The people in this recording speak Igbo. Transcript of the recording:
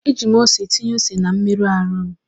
Eji m ose tinye ose na mmerụ ahụ m.